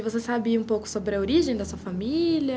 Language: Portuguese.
E você sabe um pouco sobre a origem dessa família?